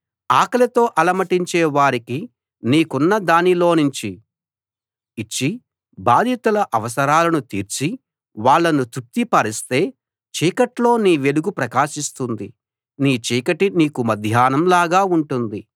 ఆకలితో అలమటించే వారికి నీకున్న దానిలోనుంచి ఇచ్చి బాధితుల అవసరాలను తీర్చి వాళ్ళను తృప్తి పరిస్తే చీకట్లో నీ వెలుగు ప్రకాశిస్తుంది నీ చీకటి నీకు మధ్యాహ్నం లాగా ఉంటుంది